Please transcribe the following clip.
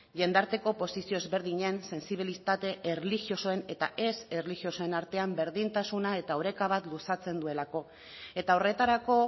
jendarteko posizio ezberdinen sentsibilitate erlijiosoen eta ez erlijiosoen artean berdintasuna eta oreka bat luzatzen duelako eta horretarako